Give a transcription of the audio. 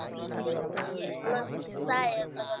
building छिये ए में शीशा आर लगल --